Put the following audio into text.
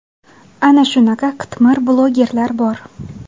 Ana shunaqa qitmir blogerlar bor!